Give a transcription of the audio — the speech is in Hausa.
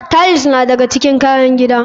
Tiles na daga cikin kayan gida.